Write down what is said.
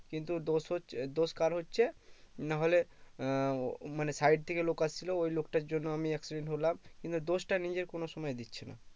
কিন্তু দোষ হচ্ছে দোষ কার হচ্ছে না হলে আহ মানে side থেকে লোক আসছিলো ওই লোকটার জন্য আমি accident হলাম কিন্তু দোষটা নিজের কোনো সময় দিচ্ছে না